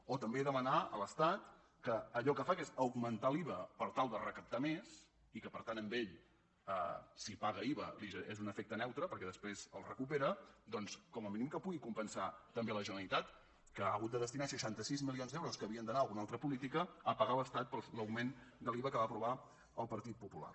o també demanar a l’estat que allò que fa que és augmentar l’iva per tal de recaptar més i que per tant a ell si paga iva és un efecte neutre perquè després el recupera doncs com a mínim que pugui compensar també la generalitat que ha hagut de destinar seixanta sis milions d’euros que havien d’anar a alguna altra política a pagar a l’estat l’augment de l’iva que aprovar el partit popular